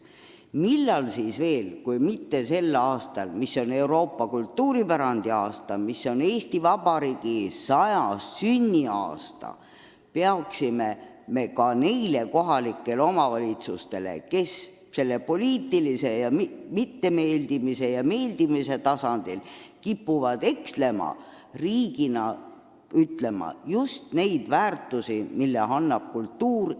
Millal siis veel kui mitte praegu, mil on alanud Euroopa kultuuripärandi aasta, on alanud Eesti Vabariigi 100. sünnipäeva aasta, peaksime ka nendele kohalikele omavalitsustele, kes kipuvad tegutsema poliitilise mittemeeldimise ja meeldimise tasandil, riigina rõhutama väärtusi, mida annab kultuur.